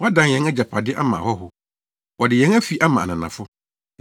Wɔadan yɛn agyapade ama ahɔho, wɔde yɛn afi ama ananafo.